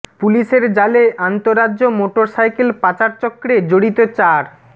পুলিশের জালে আন্তঃরাজ্য মোটর সাইকেল পাচার চক্রে জড়িত চার